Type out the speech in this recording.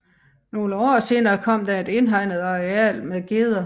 Nogle år senere kom der et indhegnet areal med geder